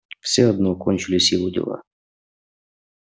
всё одно кончились его дела